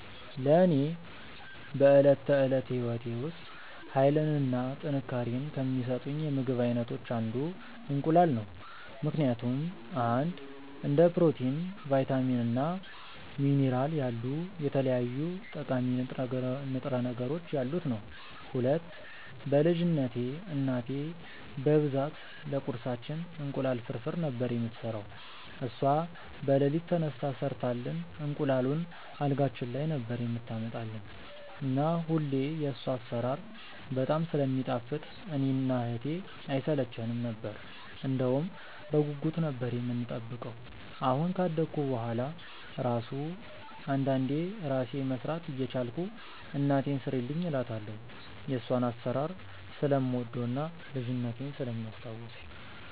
ለኔ በዕለት ተዕለት ሕይወቴ ውስጥ ኃይልን እና ጥንካሬን ከሚሰጡኝ የምግብ አይነቶች አንዱ እንቁላል ነው ምክንያቱም፦ 1. እንደ ፕሮቲን፣ ቫይታሚን እና ሚኒራል ያሉ የተለያዩ ጠቃሚ ንጥረ ነገሮች ያሉት ነዉ። 2. በ ልጅነትቴ እናቴ በብዛት ለቁርሳችን እንቁላል ፍርፍር ነበር የምትሰራው እሷ በለሊት ተነስታ ሰርታልን እንቁላሉን አልጋችን ላይ ነበር የምታመጣልን እና ሁሌ የሷ አሰራር በጣም ስለሚጣፍጥ እኔ እና እህቴ አይሰለቸነም ነበር እንደውም በጉጉት ነበር የምንጠብቀው አሁን ካደኩ በሁዋላ እራሱ አንዳንዴ እራሴ መስራት እየቻልኩ እናቴን ስሪልኝ እላታለው የሷን አሰራር ስለምወደው እና ልጅነቴን ስለሚያስታውሰኝ።